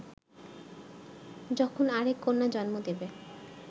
যখন আরেক কন্যা জন্ম দেবে